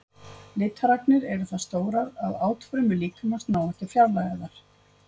Litaragnirnar eru það stórar að átfrumur líkamans ná ekki að fjarlægja þær.